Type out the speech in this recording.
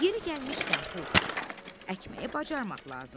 Yeri gəlmişkən, Pux, əkməyi bacarmaq lazımdır.